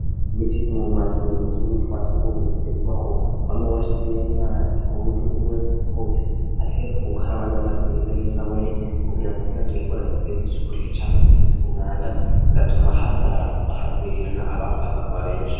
Iminsi yose mu mazu yatuzu twasugumwe bitwegerezwa ko wama washize amazi kuburyo umuntu wese asohotse ategezwa gukaraba n'amazi meze n'isabuni kugira ngo ntiyandure ingwara zivuye kw'isuku rike canke ziturutse ku mwanda zigatuma hazi haragwirirana abapfa bakaba beshi.